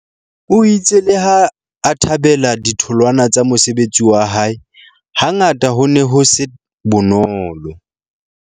O itse leha a thabela ditholwana tsa mosebetsi wa hae, hangata ho ne ho se bonolo.